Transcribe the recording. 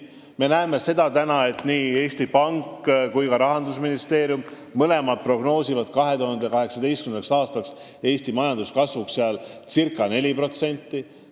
Me näeme seda, et nii Eesti Pank kui ka Rahandusministeerium prognoosivad 2018. aastaks Eesti majanduskasvuks ca 4%.